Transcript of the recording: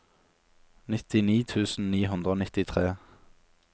nittini tusen ni hundre og nittitre